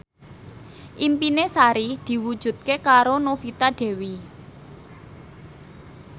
impine Sari diwujudke karo Novita Dewi